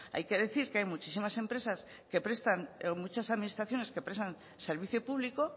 hay que decir que hay muchas administraciones que prestan servicio público